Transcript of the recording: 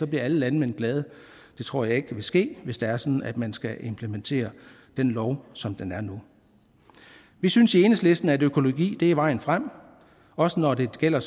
bliver alle landmænd glade det tror jeg ikke vil ske hvis det er sådan at man skal implementere den lov som den er nu vi synes i enhedslisten at økologi er vejen frem også når det gælder